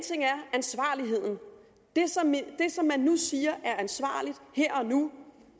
ansvarligheden det som man nu siger er ansvarligt her og nu